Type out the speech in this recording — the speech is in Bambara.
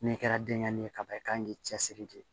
N'i kɛra denɲɛrɛnin ye kaban i kan k'i cɛsiri de